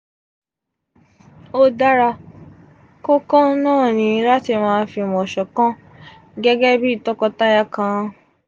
o dara ko kan naa ni lati fimo ṣọkan gẹ́gẹ bi tọkọtaya kan.